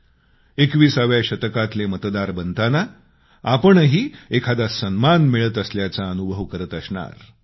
21 व्या शतकातले मतदार बनताना आपणही एखादा सन्मान मिळत असल्याचा अनुभव करत असणार